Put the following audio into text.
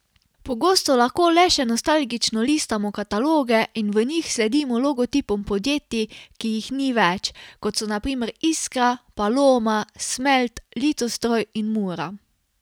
Pogosto lahko le še nostalgično listamo kataloge in v njih sledimo logotipom podjetij, ki jih ni več, kot so na primer Iskra, Paloma, Smelt, Litostroj in Mura.